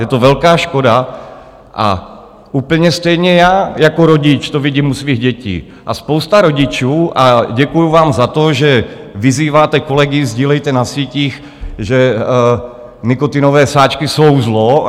Je to velká škoda a úplně stejně já jako rodič to vidím u svých dětí a spousta rodičů, a děkuji vám za to, že vyzýváte kolegy: Sdílejte na sítích, že nikotinové sáčky jsou zlo.